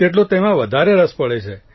તેટલો તેમાં વધારે સર પડે છે